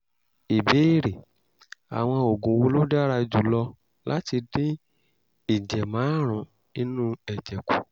ìbéèrè: àwọn oògùn wo ló dára jù lọ láti dín ìjẹ̀márùn inú ẹ̀jẹ̀ kù?